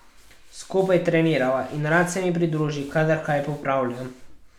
Skupaj trenirava in rad se mi pridruži, kadar kaj popravljam.